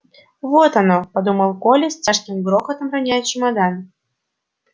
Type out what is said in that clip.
вот оно подумал коля с тяжким грохотом роняя чемодан